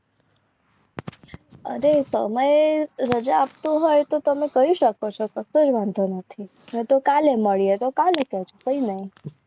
અરે તમે રજા આપતા હોય તો તમે કહી શકો છો. તો કાલે મળીએ. તો કાલે